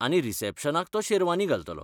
आनी रिसॅप्शनाक तो शेरवानी घालतलो.